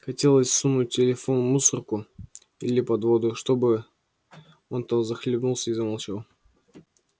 хотелось сунуть телефон в мусорку или под воду чтобы он там захлебнулся и замолчал